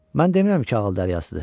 Mən demirəm ki, ağıl dəryasıdır.